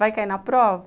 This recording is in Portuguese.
Vai cair na prova?